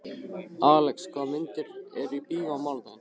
Alex, hvaða myndir eru í bíó á mánudaginn?